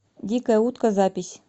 дикая утка запись